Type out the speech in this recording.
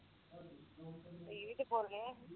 ਤੁਹੀ ਵੀ ਤੇ ਬੋਲਗੇ